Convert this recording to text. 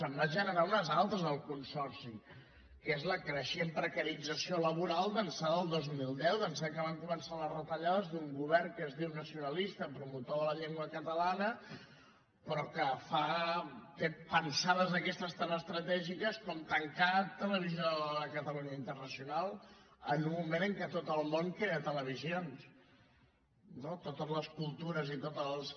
en van generar unes altres al consorci que és la creixent precarització laboral d’ençà del dos mil deu d’ençà que van començar les retallades d’un govern que es diu nacionalista promotor de la llengua catalana però que fa té pensades d’aquestes tan estratègiques com tancar televisió de catalunya internacional en un moment en què tot el món crea televisions no totes les cultures i tots els